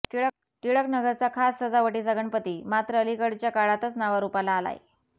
टिळकनगरचा खास सजावटीचा गणपती मात्र अलीकडच्या काळातच नावारूपाला आलाय